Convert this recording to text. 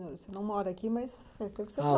Você não mora aqui, mas faz tempo que você